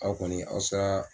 Aw kɔni aw sa.